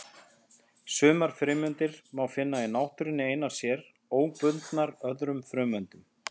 Sumar frumeindir má finna í náttúrunni einar sér, óbundnar öðrum frumeindum.